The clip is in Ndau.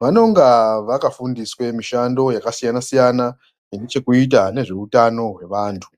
vanonga vakafundiswe mishando yakasiyana siyana ine chekuita nezveutano hwevantu.